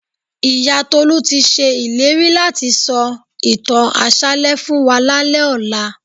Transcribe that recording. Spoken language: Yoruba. Ìyá Tolú ti ṣe ìlérí láti sọ ìtàn àṣálẹ́ fún wa lálẹ́ ọ̀la